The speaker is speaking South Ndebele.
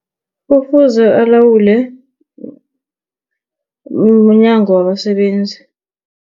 Kufuze alawule mNyango wabaSebenzi.